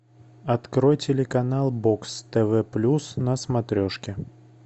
открой телеканал бокс тв плюс на смотрешке